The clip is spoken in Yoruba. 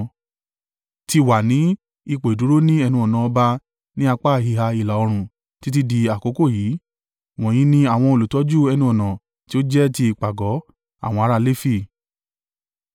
ti wà ní ipò ìdúró ní ẹnu-ọ̀nà ọba ní apá ìhà ìlà-oòrùn títí di àkókò yí. Wọ̀nyí ni àwọn olùtọ́jú ẹnu-ọ̀nà tí ó jẹ́ ti ìpàgọ́ àwọn ará Lefi.